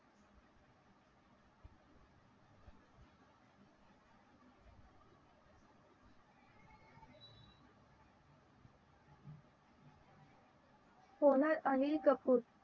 Sonal Anil Kapoor